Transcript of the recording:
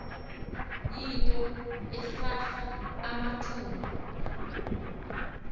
yinto ekrakra amathumbu